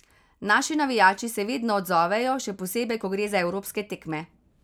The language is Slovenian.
Naši navijači se vedno odzovejo, še posebej, ko gre za evropske tekme.